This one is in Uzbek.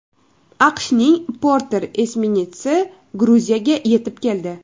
AQShning Porter esminetsi Gruziyaga yetib keldi.